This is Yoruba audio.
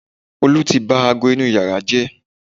olu ti ba ago inú yàrá jẹ́